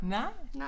Nej